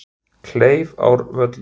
Kleifárvöllum